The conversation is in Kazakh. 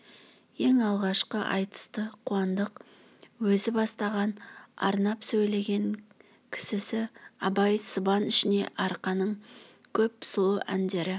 ең алғашқы айтысты қуандық өзі бастаған арнап сөйлеген кісісі абай сыбан ішіне арқаның көп сұлу әндері